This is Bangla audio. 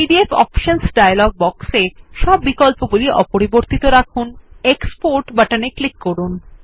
আইপিডিএফ অপশনস ডায়লগ বক্সে সব বিকল্পগুলি অপরিবর্তিত রাখুন এবং এক্সপোর্ট বাটনে ক্লিক করুন